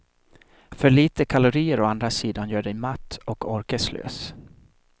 För lite kalorier å andra sidan gör dig matt och orkeslös.